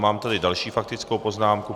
Mám tady další faktickou poznámku.